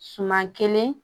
Suman kelen